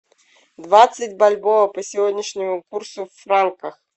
двадцать бальбоа по сегодняшнему курсу в франках